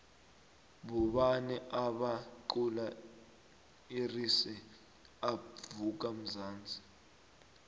bobani obaqula irise up vuka mnzansi